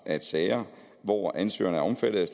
at sager hvor ansøgeren er omfattet